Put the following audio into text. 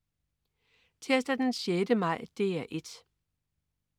Tirsdag den 6. maj - DR 1: